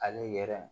Ani yɛrɛ